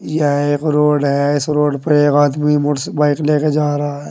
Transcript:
यह एक रोड है इस रोड पे एक आदमी मोट्स बाइक लेके जा रहा है।